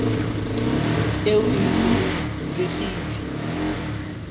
eo e ntse e bulegile